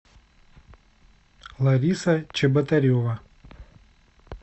лариса чеботарева